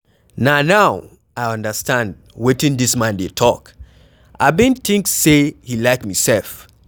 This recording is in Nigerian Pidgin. Na now I understand wetin dis man dey talk, I bin think say he like me sef